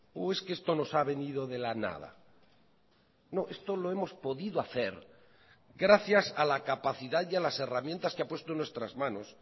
o es que esto nos ha venido de la nada no esto lo hemos podido hacer gracias a la capacidad y a las herramientas que ha puesto en nuestras manos